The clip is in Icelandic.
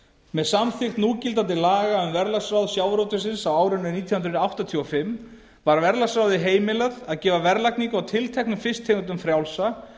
með samþykkt núgildandi laga um verðlagsráð sjávarútvegsins á árinu nítján hundruð áttatíu og fimm var verðlagsráði heimilað að gefa verðlagningu á tilteknum fisktegundum frjálsa